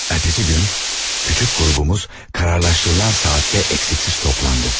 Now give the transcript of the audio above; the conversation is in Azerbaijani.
Ertəsi gün kiçik qrupumuz qərarlaşdırılan saatdə tam toplandı.